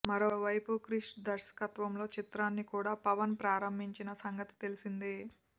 మరోవైపు క్రిష్ దర్శత్వంలో చిత్రాన్ని కూడా పవన్ ప్రారంభించిన సంగతి తెలిసిందే